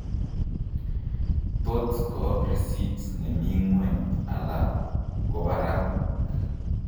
Tot koo risit nemii ng'weny ala kobarak